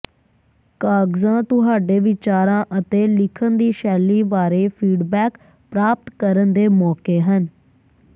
ਕਾਗਜ਼ਾਂ ਤੁਹਾਡੇ ਵਿਚਾਰਾਂ ਅਤੇ ਲਿਖਣ ਦੀ ਸ਼ੈਲੀ ਬਾਰੇ ਫੀਡਬੈਕ ਪ੍ਰਾਪਤ ਕਰਨ ਦੇ ਮੌਕੇ ਹਨ